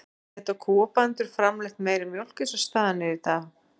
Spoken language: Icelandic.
En geta kúabændur framleitt meiri mjólk eins og staðan er í dag?